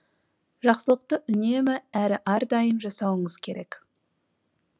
жақсылықты үнемі әрі әрдайым жасауыңыз керек